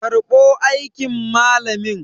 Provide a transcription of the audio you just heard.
karbo aikin malamin!